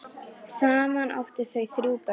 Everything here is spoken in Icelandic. Saman áttu þau þrjú börn.